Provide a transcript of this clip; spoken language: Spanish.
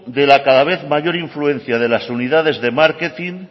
de la cada vez mayor influencia de las unidades de márquetin